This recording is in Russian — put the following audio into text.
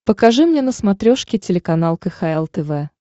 покажи мне на смотрешке телеканал кхл тв